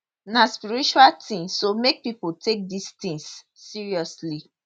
na spiritual tin so make pipo take dis tins seriously